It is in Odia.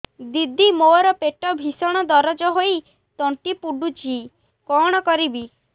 ଦିଦି ମୋର ପେଟ ଭୀଷଣ ଦରଜ ହୋଇ ତଣ୍ଟି ପୋଡୁଛି କଣ କରିବି